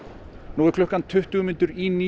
nú er klukkan tuttugu mínútur í